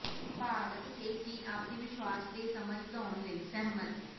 ਭਾਰਤ ਤੇ ਚੀਨ ਆਪਸੀ ਵਿਸ਼ਵਾਸ ਤੇ ਸਮਝ ਵਧਾਉਣ ਲਈ ਸਹਿਮਤ